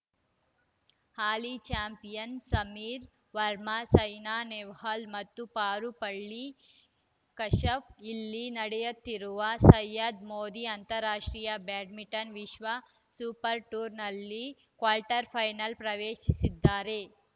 ಹಾಲಿ champion Sameer Verma Saina Nehwal ಮತ್ತು ಪಾರುಪಳ್ಳಿ ಕಶ್ಯಪ್‌ ಇಲ್ಲಿ ನಡೆಯುತ್ತಿರುವ ಸಯ್ಯದ್‌ ಮೋದಿ ಅಂತಾರಾಷ್ಟ್ರೀಯ ಬ್ಯಾಡ್ಮಿಂಟನ್‌ ವಿಶ್ವ ಸೂಪರ್‌ ಟೂರ್‌ನಲ್ಲಿ ಕ್ವಾರ್ಟರ್‌ಫೈನಲ್‌ ಪ್ರವೆಶಿಸಿದ್ದಾರೆ